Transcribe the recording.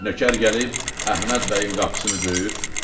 Nökər gəlib Əhməd bəyin qapısını döyür.